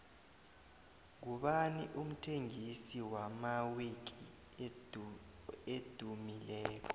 ngubani umthengisi wamawiki edumileko